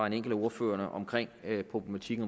enkelt af ordførerne omkring problematikken